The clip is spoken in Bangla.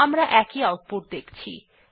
আমরা একই আউটপুট দেখছি